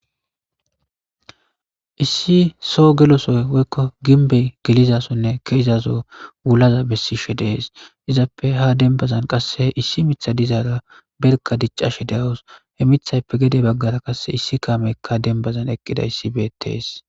Issi so gelosoy woykko ginbey gelizasonne keezazo wulaza bessishe dees izappe ha dembazan qasse issi mitha dizaara berka diccashe de7os he mithayppe gede baggara qasse issi kaamekka denbazan eqqida issi beetees.